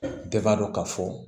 Bɛɛ b'a dɔn ka fɔ